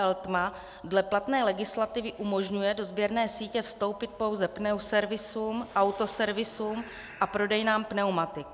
Eltma dle platné legislativy umožňuje do sběrné sítě vstoupit pouze pneuservisům, autoservisům a prodejnám pneumatik.